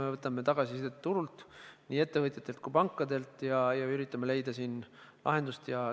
Me võtame tagasisidet turult, nii ettevõtjatelt kui ka pankadelt, ja üritame lahendust leida.